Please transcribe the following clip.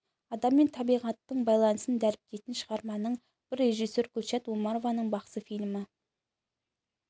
адам мен табиғаттың байланысын дәріптейтін шығарманың бірі режиссер гүлшат омарованың бақсы фильмі